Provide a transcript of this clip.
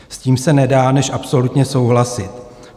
S tím se nedá než absolutně souhlasit.